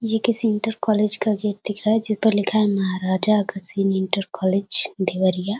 ये किसी inter college का गेट दिख रहा है जिस पर लिखा है महराजा अग्रसेन इंटर कॉलेज देवरिया।